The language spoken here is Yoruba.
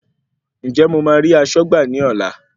Ǹjẹ́ mo ma rí aṣọ́gbà ní ọlá.